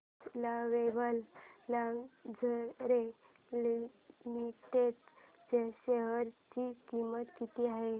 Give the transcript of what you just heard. आज Lovable Lingerie Limited च्या share ची किंमत किती आहे